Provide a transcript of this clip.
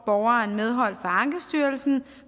borgeren medhold fra ankestyrelsen